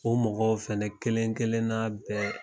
O mɔgɔw fana kelen kelenna bɛɛ.